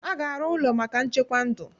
A ga-arụ ụlọ maka nchekwa ndụ